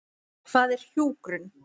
Hvað er hjúkrun?